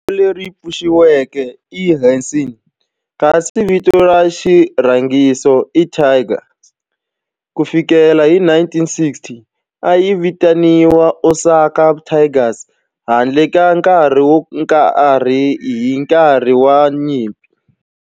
Vito leri pfuxetiweke i"Hanshin" kasi vito ra xirhangiso i"Tigers". Ku fikela hi 1960, a yi vitaniwa Osaka Tigers handle ka nkarhi wo karhi hi nkarhi wa nyimpi.